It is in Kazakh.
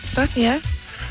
бірақ иә